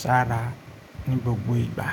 ṣára ní gbogbo ìgbà.